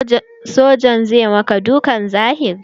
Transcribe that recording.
Sojan zai yi maka dukan zahiri.